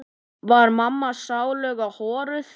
Var mamma sáluga horuð?